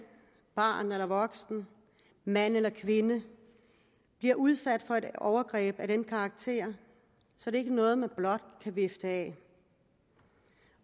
barn eller voksen mand eller kvinde bliver udsat for et overgreb af den karakter er ikke noget man blot kan vifte af